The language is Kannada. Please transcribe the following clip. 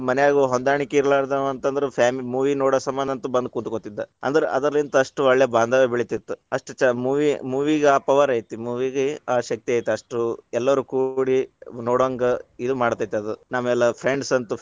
ಮನ್ಯಾಗ ಹೊಂದಾಣಿಕಿ ಇರ್ಲಾರದವ ಅಂತಂದ್ರ fa movie ನೋಡೊ ಸಂಬಂದಂತು ಬಂದ್ ಕುಂತ್ಕೊಂ ತಿದ್ದ, ಅಂದ್ರ ಅದರಲಿಂತ ಅಷ್ಟೂ ಒಳ್ಳೇ ಬಾಂಧವ್ಯ ಬೆಳಿತಿತ್ತು, ಅಷ್ಟ ಚ movie movie ಆ power ಐತಿ movie ಗ ಆ ಶಕ್ತಿ ಐತಿ ಅಷ್ಟು ಎಲ್ಲಾರು ಕೂಡಿ ನೋಡೊಂಗ ಇದು ಮಾಡತೈತದು, ನಾವೆಲ್ಲಾ friends ಅಂತು.